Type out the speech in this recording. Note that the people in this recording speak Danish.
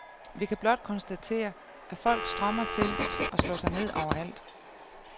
Vi kan blot konstatere, at folk strømmer til og slår sig ned overalt.